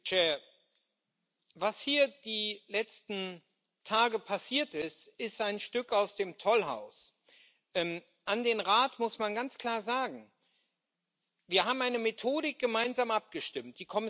Herr Präsident! Was hier in den letzten Tagen passiert ist, ist ein Stück aus dem Tollhaus. An den Rat muss man ganz klar sagen Wir haben eine Methodik gemeinsam abgestimmt.